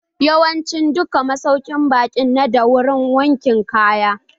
Yawancin duka masaukin baƙi nada wurin wankin kaya.